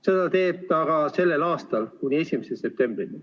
Seda teeb ta ka sellel aastal kuni 1. septembrini.